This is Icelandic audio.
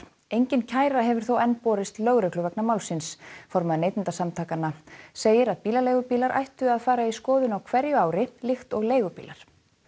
engin kæra hefur þó enn borist lögreglu vegna málsins formaður Neytendasamtakanna segir að bílaleigubílar ættu að fara í skoðun á hverju ári líkt og leigubílar